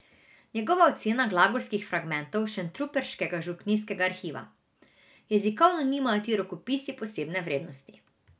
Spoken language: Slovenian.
Njegova ocena glagolskih fragmentov šentruperškega župnijskega arhiva: 'Jezikovno nimajo ti rokopisi posebne vrednosti.